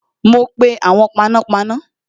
Ma pe awon panápaná